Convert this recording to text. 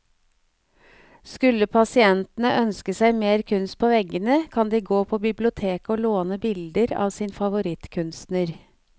Skulle pasientene ønske seg mer kunst på veggene, kan de gå på biblioteket å låne bilder av sin favorittkunstner.